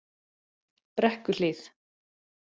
Brekkuhlíð